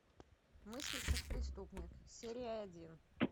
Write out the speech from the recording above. мыслить как преступник серия один